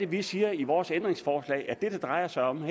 vi siger i vores ændringsforslag at det det drejer sig om